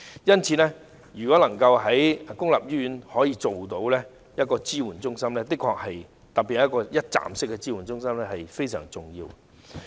因此，在公立醫院成立支援中心，特別是一站式的支援中心非常重要。